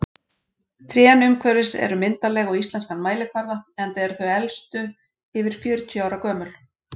Trén umhverfis eru myndarleg á íslenskan mælikvarða, enda eru þau elstu yfir fjörutíu ára gömul.